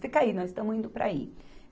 Fica aí, nós estamos indo para aí.